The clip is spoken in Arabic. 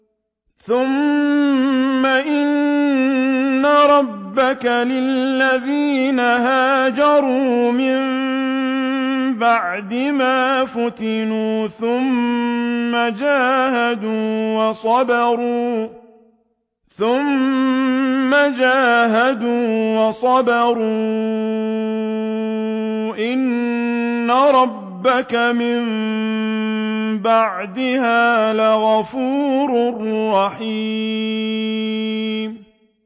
ثُمَّ إِنَّ رَبَّكَ لِلَّذِينَ هَاجَرُوا مِن بَعْدِ مَا فُتِنُوا ثُمَّ جَاهَدُوا وَصَبَرُوا إِنَّ رَبَّكَ مِن بَعْدِهَا لَغَفُورٌ رَّحِيمٌ